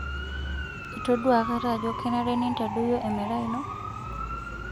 Itodua akata ajo kenare nintadoyio emerai ino?